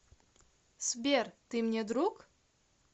сбер ты мне друг